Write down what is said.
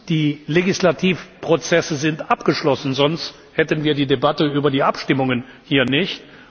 Die Legislativprozesse sind abgeschlossen, sonst hätten wir die Debatte über die Abstimmungen hier nicht.